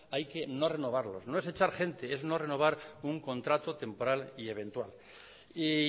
hay que no renovarlos no es echar gente es no renovar un contrato temporal y eventual y